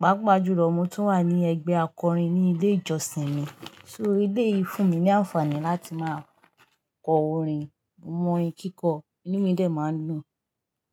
Pápa jùlọ, mo tún wà ní ẹgbẹ́ akọrin ní ilé ìjọsìn mi. So, eleyii fún mi ní àǹfààní láti máa kọ orin, mo mọ orin kíkọ, inú mi dẹ̀ máa ń dùn.